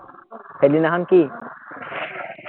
সেইদিনাখন কি?